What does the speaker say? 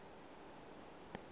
kgolo e e fa gaufi